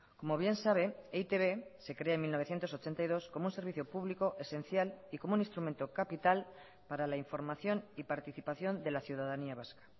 como bien sabe e i te be se crea en mil novecientos ochenta y dos como un servicio público esencial y como un instrumento capital para la información y participación de la ciudadanía vasca